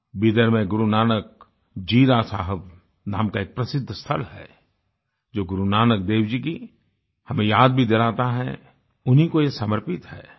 बिदर में गुरुनानक जीरा साहब नाम का एक प्रसिद्ध स्थल है जो गुरुनानक देव जी की हमें याद भी दिलाता है उन्हीं को ये समर्पित है